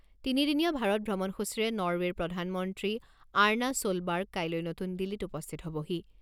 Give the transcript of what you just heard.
তিনিদিনীয়া ভাৰত ভ্ৰমণসূচীৰে নৰৱেৰ প্ৰধানমন্ত্ৰী আৰ্না ছ'লবাৰ্গ কাইলৈ নতুন দিল্লীত উপস্থিত হ'বহি।